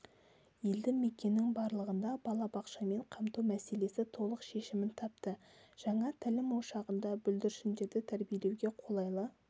елді мекеннің барлығында балабақшамен қамту мәселесі толық шешімін тапты жаңа тәлім ошағында бүлдіршіндерді тәрбиелеуге қолайлы